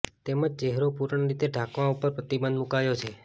તેમજ ચહેરો પૂર્ણ રીતે ઢાંકવા ઉપર પ્રતિબંધ મુકાયો છે